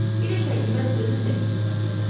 Bilirsən ki, mən özüm də köhnə bakılıyam.